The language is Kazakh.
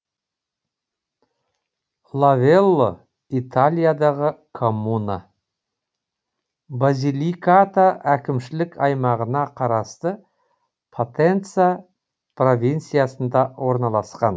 лавелло италиядағы коммуна базиликата әкімшілік аймағына қарасты потенца провинциясында орналасқан